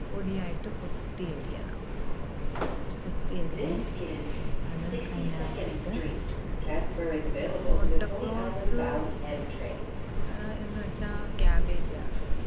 പൊടിയായിട്ട് കൊത്തി അരിയണം. കൊത്തി അരിഞ്ഞ് അത് അതിനകത്തിട്ട് മുട്ടക്ലോസ് ആഹ് എന്നുവെച്ചാ cabbage ആണ്.